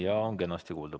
Jaa, on kenasti kuulda.